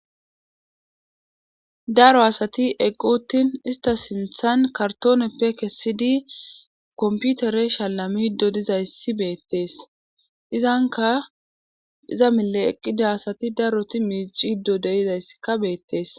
daro asati eqqu uttin ista sinthan kartooneppe kessidi komputere shalamido dizayssi beettees izanka iza mile eqqida asati daroti miicido deizayssika beettees